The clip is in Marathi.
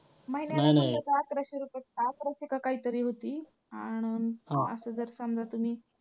अकराशे की काहीतरी होती अन असं जर समजा तुम्ही.